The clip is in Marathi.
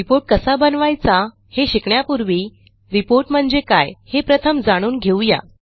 reportकसा बनवायचा हे शिकण्यापूर्वी रिपोर्ट म्हणजे काय हे प्रथम जाणून घेऊ या